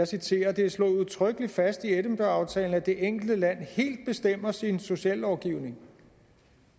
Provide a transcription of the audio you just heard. citerer det er slået udtrykkelig fast i edinburgh aftalen at det enkelte land helt bestemmer sin sociallovgivning